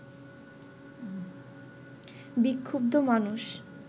বিক্ষুব্ধ মানুষ